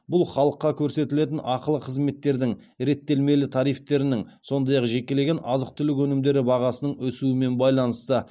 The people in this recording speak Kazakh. бұл халыққа көрсетілетін ақылы қызметтердің реттелмелі тарифтерінің сондай ақ жекелеген азық түлік өнімдері бағасының өсуімен байланысты